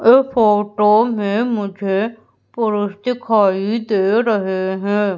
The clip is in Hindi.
ये फोटो में मुझे पुरुष दिखाई दे रहे है।